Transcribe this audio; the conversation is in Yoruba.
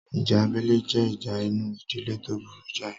Ìjà abẹ́lé jẹ́ ìjà inú ìdílé tó burú jáì